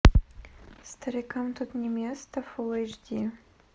старикам тут не место фулл эйч ди